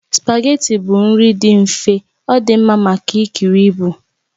Spageetí bụ nri dị mfe, ọ dị mma maka ikiri ibu